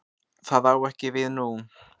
Það á ekki við nú.